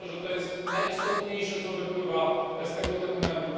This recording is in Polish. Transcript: I myślę, że to jest najistotniejsze, co wypływa z tego dokumentu.